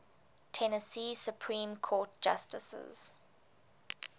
tennessee supreme court justices